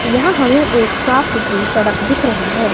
यहां हमें एक साफ सुथरी सड़क दिख रही है।